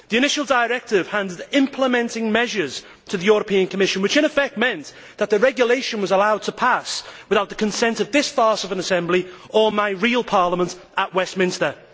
The initial directive handed implementing measures to the European Commission which, in effect, meant that the regulation was allowed to pass without the consent of this farce of an Assembly or of my real parliament at Westminster.